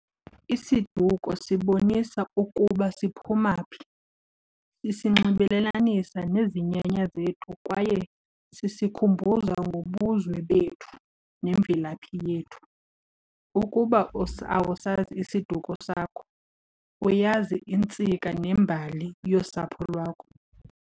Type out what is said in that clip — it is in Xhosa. Isiduko sibonisa ukuba siphuma phi. Isinxibelelanisa nezinyanya zethu kwaye sisikhumbuza ngobuzwe bethu nemvelaphi yethu. Ukuba awusazi isiduko sakho, uyazi intsika nembali yosapho lwakho.